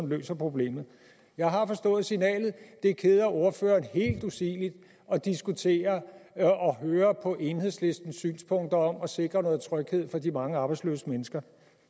løser problemet jeg har forstået signalet det keder ordføreren helt usigeligt at diskutere med og høre på enhedslistens synspunkter om at sikre noget tryghed for de mange arbejdsløse mennesker